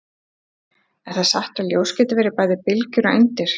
Er það satt að ljós geti verið bæði bylgjur og eindir?